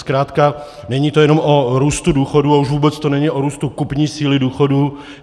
Zkrátka není to jenom o růstu důchodu, ale už vůbec to není o růstu kupní síly důchodu.